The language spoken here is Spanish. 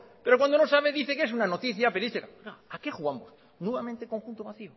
pero cuando no sabe dice que es una noticia que dice que está a qué jugamos nuevamente conjunto